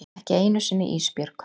Ekki einu sinni Ísbjörg.